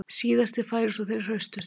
Síðastir færu svo þeir hraustustu